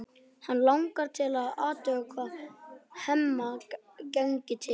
Hana langar til að athuga hvað Hemma gangi til.